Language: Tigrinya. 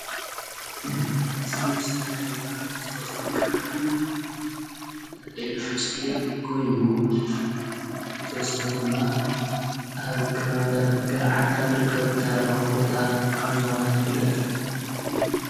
እዚ ምስሊ እዚ ድማ ናይ ተፈጥሮን ከባቢን ዘርእየና ምስሊ ኮይኑ ብተወሳኺ ድማ ኣብ ከባቢታት ገረዓልታ ዝርከብ ታሪኻዊ ቦታ ከም ዝኾነ ይፍለጥ ።